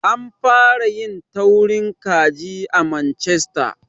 An fara yin taurin kaji a Manchester.